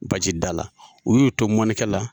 Baji da la, u y'u to mɔnikɛ la